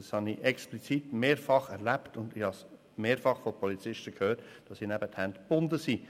Das habe ich explizit mehrfach erlebt, und ich habe mehrfach von Polizisten gehört, dass ihnen die Hände gebunden seien.